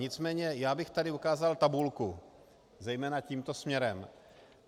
Nicméně já bych tady ukázal tabulku, zejména tímto směrem.